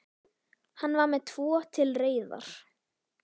Hann var með tvo til reiðar.